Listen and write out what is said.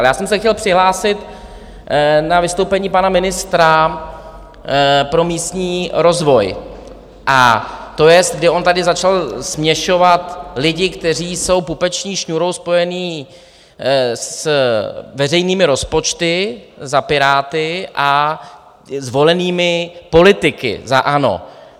Ale já jsem se chtěl přihlásit na vystoupení pana ministra pro místní rozvoj, a to jest, kdy on tady začal směšovat lidi, kteří jsou pupeční šňůrou spojení s veřejnými rozpočty za Piráty, a zvolenými politiky za ANO.